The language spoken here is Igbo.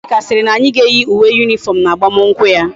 Nneka siri na anyi ga eyi uwe uniform na agbam nkwu ya